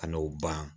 Ka n'o ban